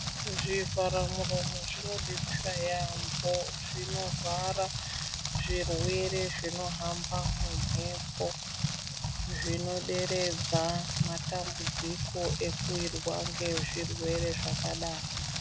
Zvivhara muromo zvimobetsera yaambo zvinovhara zvirwere zvinohamba mumhepo. Zvinoderedza matambudziko ekuvirwa ngezvirwere zvakadaro .